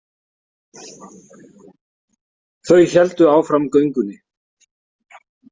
Þau héldu áfram göngunni.